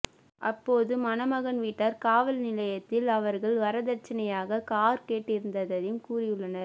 அப்போது மணமகன் வீட்டார் காவல் நிலையத்தில் அவர்கள் வரதட்சனையாக கார் கேட்டிருந்ததையும் கூறியுள்ளனர்